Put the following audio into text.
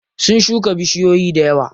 Sun shuka bishiyoyi dayawa.